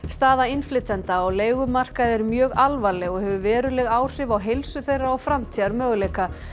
staða innflytjenda á leigumarkaði er mjög alvarleg og hefur veruleg áhrif á heilsu þeirra og framtíðarmöguleika